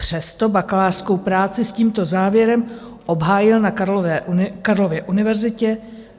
Přesto bakalářskou práci s tímto závěrem obhájil na Karlově univerzitě.